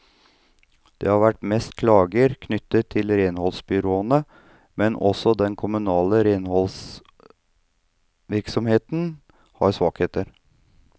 Det har vært mest klager knyttet til renholdsbyråene, men også den kommunale renholdsvirksomheten har svakheter.